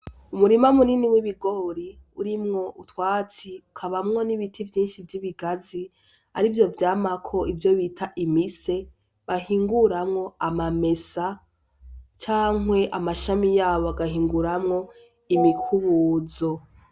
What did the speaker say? Umurima munini w'ibigori urimwo utwatsi ukabamwo n'ibiti vyinshi vyibigazi arivyo vyamako imise bahinguramwo amamesa canke amashami yabo bagahinguramwo imikubuzo .